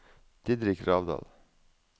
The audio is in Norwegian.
Didrik Gravdal